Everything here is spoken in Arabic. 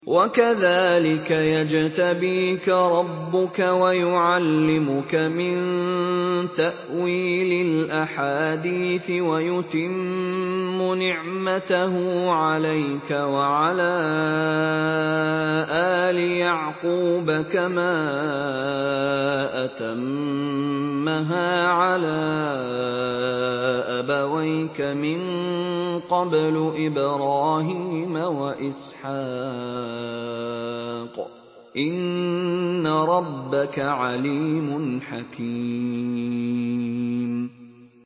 وَكَذَٰلِكَ يَجْتَبِيكَ رَبُّكَ وَيُعَلِّمُكَ مِن تَأْوِيلِ الْأَحَادِيثِ وَيُتِمُّ نِعْمَتَهُ عَلَيْكَ وَعَلَىٰ آلِ يَعْقُوبَ كَمَا أَتَمَّهَا عَلَىٰ أَبَوَيْكَ مِن قَبْلُ إِبْرَاهِيمَ وَإِسْحَاقَ ۚ إِنَّ رَبَّكَ عَلِيمٌ حَكِيمٌ